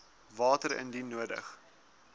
water indien nodig